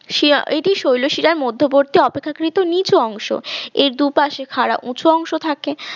এটির শৈলশিরার মধ্যবর্তী অপেক্ষাকৃত নিচু অংশ এর দুপাশে খাড়া উঁচু অংশ থাকে